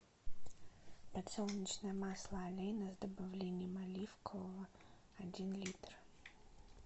подсолнечное масло олейна с добавлением оливкового один литр